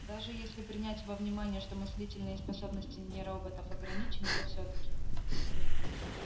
даже если принять во внимание что мыслительные способности не роботов ограничены то всё-таки